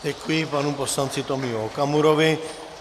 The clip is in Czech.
Děkuji panu poslanci Tomiu Okamurovi.